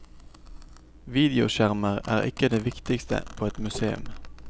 Videoskjermer er ikke det viktigste på et museum.